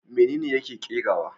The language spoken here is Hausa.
Menene yake kerawa?